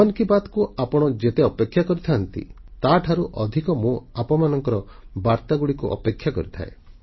ମନ କି ବାତ୍କୁ ଆପଣ ଯେତେ ଅପେକ୍ଷା କରିଥାନ୍ତି ତାଠାରୁ ଅଧିକ ମୁଁ ଆପଣଙ୍କ ବାର୍ତ୍ତାଗୁଡ଼ିକୁ ଅପେକ୍ଷା କରିଥାଏ